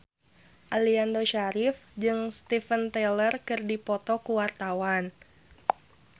Aliando Syarif jeung Steven Tyler keur dipoto ku wartawan